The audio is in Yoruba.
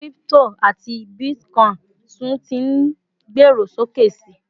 crypto ati Bitcoin tun tí n gbero sókè sí